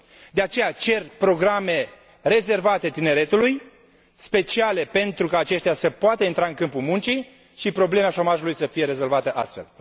De aceea cer programe rezervate tineretului, speciale, pentru ca aceștia să poată intra în câmpul muncii și problema șomajului să fie rezolvată astfel.